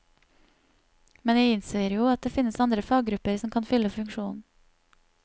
Men jeg innser jo at det finnes andre faggrupper som kan fylle funksjonen.